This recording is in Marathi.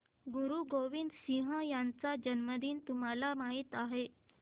गुरु गोविंद सिंह यांचा जन्मदिन तुम्हाला माहित आहे